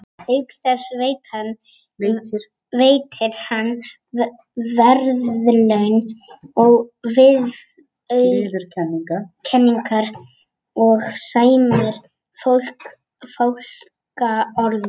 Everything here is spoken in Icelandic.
Auk þess veitir hann verðlaun og viðurkenningar og sæmir fólk fálkaorðunni.